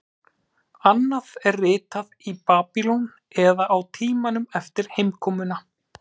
Annað er ritað í Babýlon eða á tímanum eftir heimkomuna.